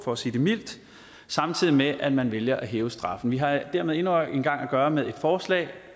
for at sige det mildt samtidig med at man vælger at hæve straffen vi har dermed endnu en gang at gøre med et forslag